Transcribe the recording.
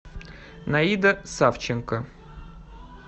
наида савченко